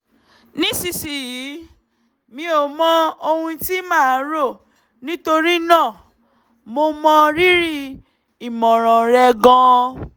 nísinsìnyí mi ò mọ ohun tí màá rò nítorí náà mo mọ rírì ìmọ̀ràn rẹ gan-an